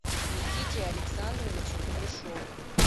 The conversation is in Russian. никите александровичу кудряшову